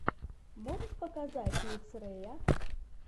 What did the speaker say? можешь показать микс рэя